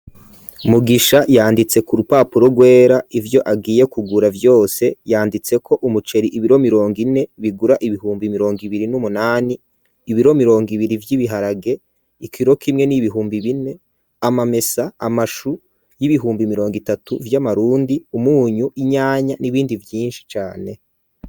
Mugisha yanditse ku rupapuro rwera ivyo agiye kugura vyose yanditse ko umuceri ibiro mirongo ine bigura ibihumbi mirongo ibiri n'umunani ibiro mirongo ibiri vy'ibiharage ikiro kimwe n'ibihumbi bine amamesa amashu y'ibihumbi mirongo itatu vy'amarundi umunyu inyanya n'ibindi vyinshi byinshi cane.